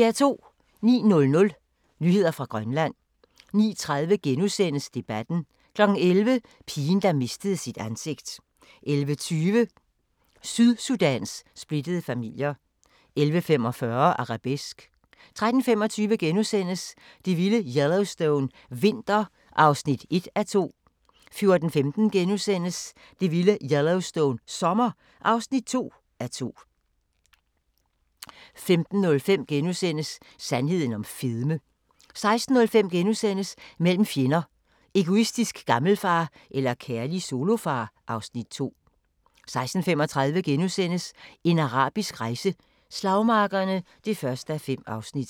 09:00: Nyheder fra Grønland 09:30: Debatten * 11:00: Pigen, der mistede sit ansigt 11:20: Sydsudans splittede familier 11:45: Arabesque 13:25: Det vilde Yellowstone – vinter (1:2)* 14:15: Det vilde Yellowstone – sommer (2:2)* 15:05: Sandheden om fedme * 16:05: Mellem fjender: Egoistisk gammelfar eller kærlig solofar? (Afs. 2)* 16:35: En arabisk rejse: Slagmarkerne (1:5)*